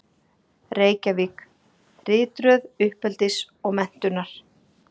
Reykjavík: Ritröð uppeldis og menntunar.